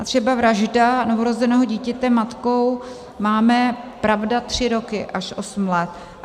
A třeba vražda novorozeného dítěte matkou máme, pravda, tři roky až osm let.